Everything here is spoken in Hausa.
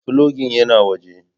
Filogin yana waje.